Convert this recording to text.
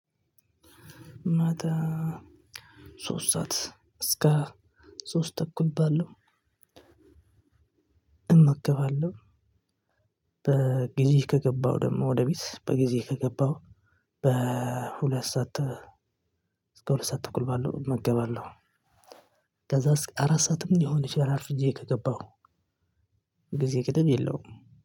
ሶስት ሰዓት እስከ ሶስት ተኩል ባለው እመገባለሁ። በጊዜህ ከገባው ደግሞ ወደ ቤት በጊዜ ከገባው በሁለት ሰዓት እስከ ሁለት ሰዓት ተእኩል ባለው እመገባለሁኝ። ከዛ እስከ አራት ሰዓትም ሊሆን ይችላል አርፍጄ ከገባሁ ጊዜ ገደብ የለውም።